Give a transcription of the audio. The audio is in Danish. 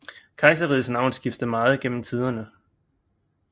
Kejserrigets navn skiftede meget gennem tiderne